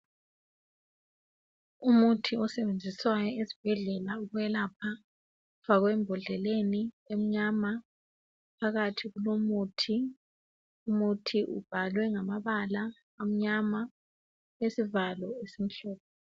Umuthi osebenziswayo esibhedlela ukwelapha, ufakwe embodleleni emnyama. Phakathi kulomuthi. Lumuthi ubhalwe ngamabala amnyama, ulesivalo esimhlophe.